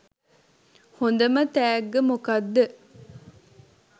හොඳම තැග්ග මොකක්ද?